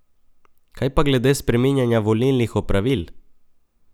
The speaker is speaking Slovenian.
Kaj pa glede spreminjanja volilnih opravil?